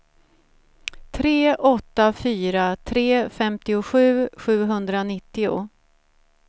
tre åtta fyra tre femtiosju sjuhundranittio